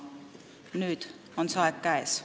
Nüüd on see aeg käes.